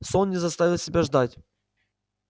сон не заставил себя ждать